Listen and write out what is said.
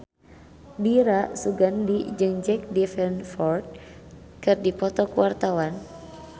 Dira Sugandi jeung Jack Davenport keur dipoto ku wartawan